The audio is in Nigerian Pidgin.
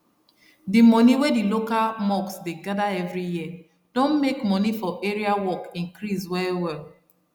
d moni wey d local mosque dey gather every year don make moni for area work increase well well